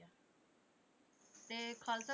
ਤੇ ਖ਼ਾਲਸਾ